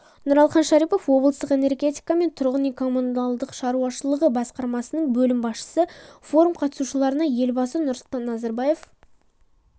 нұралхан шарипов облыстық энергетика және тұрғын үй-коммуналдық шаруашылығы басқармасының бөлім басшысы форум қатысушыларына елбасы нұрсұлтан назарбаев